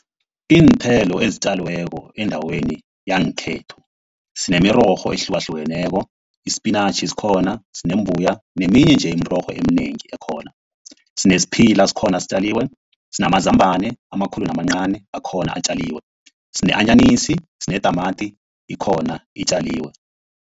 Iinthelo ezitjaliweko endaweni yangekhethu, sinemirorho ehlukahlukeneko ispinatjhi sikhona, sinembuya neminye nje imirorho eminengi ekhona. Sinesiphila sikhona sitjaliwe, sinamazambana amakhulu namancani akhona atjaliwe, sine-anyanisi, sinetamati ikhona itjaliwe.